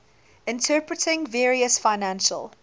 interpreting various financial